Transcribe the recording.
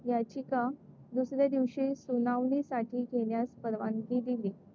याचिका दुसऱ्या दिवशी सुनावणीसाठी घेण्यास परवानगी दिली.